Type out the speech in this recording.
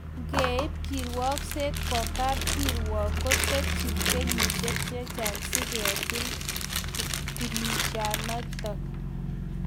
Ngeib kirwagkset koa kap kirwakiin kotebche kenyisyiek chechang siketil kinishanitok